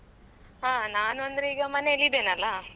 ಹಾ ನಾನು ಅಂದ್ರೆ ಈಗ ಮನೇಲಿ ಇದ್ದೇನೆ ಅಲಾ.